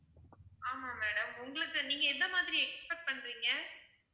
ஆமா madam உங்களுக்கு நீங்க எந்த மாதிரி expect பண்றீங்க?